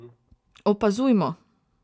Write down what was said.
Opazujmo.